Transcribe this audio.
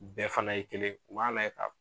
Bɛɛ fana ye kelen ye u b'a layɛ ka